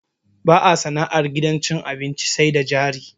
Ba a sana'ar gidan cin abinci sai da jari.